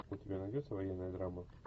у тебя найдется военная драма